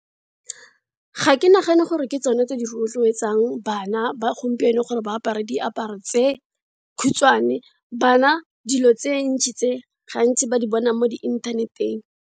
Ga ke nagane gore ke tsone tse di rotloetsang bana, ba gompieno gore ba apare diaparo tse khutshwane. Bana dilo tse ntsi tse, gantsi ba di bona mo di inthaneteng.